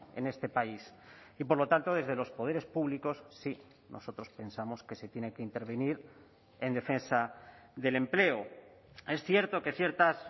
en este país y por lo tanto desde los poderes públicos sí nosotros pensamos que se tiene que intervenir en defensa del empleo es cierto que ciertas